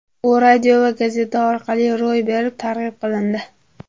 U radio va gazeta orqali zo‘r berib targ‘ib qilindi.